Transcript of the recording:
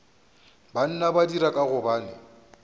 banna ba dira ka gobane